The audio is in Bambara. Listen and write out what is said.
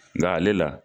Nka ale la